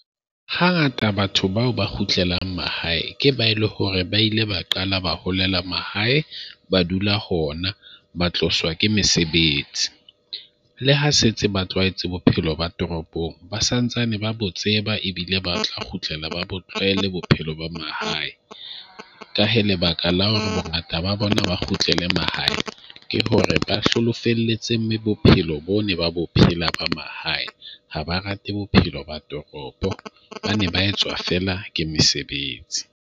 Hangata batho bao ba kgutlelang mahae ke ba e le hore ba ile ba qala, ba holela mahae. Ba dula hona, ba tloswa ke mesebetsi. Le ha setse ba tlwaetse bophelo ba toropong ba sa ntsane ba bo tseba ebile ba tla kgutlela ba bo tlwaele bophelo bo mahae. Ka hee, lebaka la hore bongata ba bona ba kgutlelang mahae ke hore ba hloloa felletseng bophelo bo ne ba bophelo ba mahae, Ha ba rate bophelo ba toropo, hobane ba etswa fela ke mesebetsi.